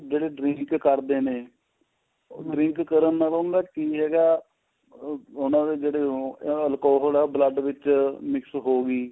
ਜਿਹੜੇ drink ਕਰਦੇ ਨੇ drink ਕਰਨ ਦਾ ਮਤਲਬ ਕਿ ਹੈਗਾ ਉਹਨਾ ਦੇ ਜਿਹੜੇ ਉਹ alcohol ਆ blood ਵਿੱਚ mix ਹੋਗੀ